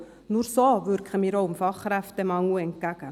Nur so wirken wir auch dem Fachkräftemangel entgegen.